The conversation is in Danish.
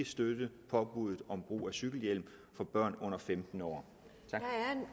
støtte påbuddet om brug af cykelhjelm for børn under femten år tak